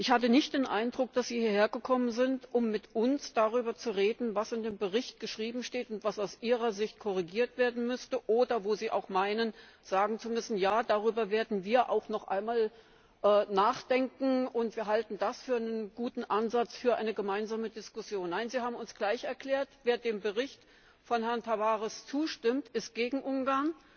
Ich hatte nicht den Eindruck, dass Sie hierher gekommen sind, um mit uns darüber zu reden, was in dem Bericht geschrieben steht und was aus Ihrer Sicht korrigiert werden müsste, oder wo Sie auch meinen, sagen zu müssen, ja, darüber werden wir auch noch einmal nachdenken und wir halten das für einen guten Ansatz für eine gemeinsame Diskussion. Nein, Sie haben uns gleich erklärt Wer dem Bericht von Herrn Tavares zustimmt, ist gegen Ungarn,